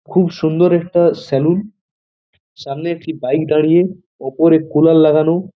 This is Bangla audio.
খুব সুন্দর একটা সেলুন । সামনে একটি বইক দাঁড়িয়ে। উপরে কুলার লাগানো।